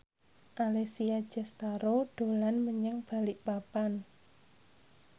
Alessia Cestaro dolan menyang Balikpapan